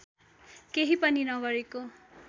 केही पनि नगरेको